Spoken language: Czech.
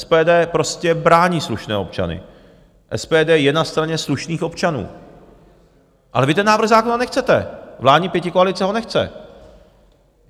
SPD prostě brání slušné občany, SPD je na straně slušných občanů, ale vy ten návrh zákona nechcete, vládní pětikoalice ho nechce.